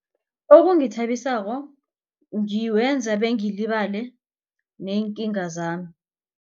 Okungithabisako ngiwenza bengilibale neenkinga zami.